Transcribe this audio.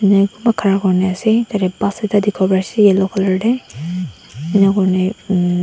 khara kori na ase tarte bus ekta dekhi bo pari ase yellow colour te eninka kori ni--